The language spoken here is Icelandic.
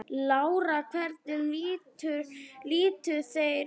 Lára: Hvernig litu þeir út?